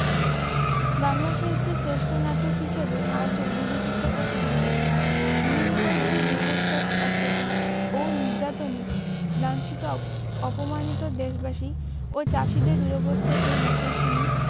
বাংলা সাহিত্যের শ্রেষ্ঠ নাটক হিসাবে আজও বিবেচিত ও সমাদৃত। নীলকরদের বীভৎস অত্যাচার ও নির্যাতনে লাঞ্ছিত অপ-অপমানিত দেশবাসী ও চাষীদের দুরবস্থার এই নাটক তিনি